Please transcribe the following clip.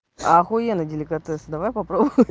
ахуенный деликатесы давай попробуем